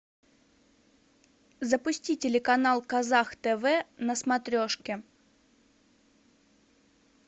запусти телеканал казах тв на смотрешке